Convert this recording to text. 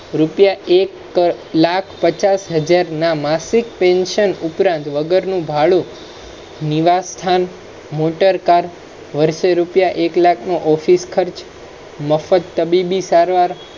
રૂપીયા. એક લાખ પચ્ચાસ હજાર ના માસીક Pension ઉપરાંત વગર ભાડુ, નિવાસસ્થાન, મોટરકાર, વર્ષે રૂપીયા એક લાખનો office ખચૅ, મફત તબીબી સારવાર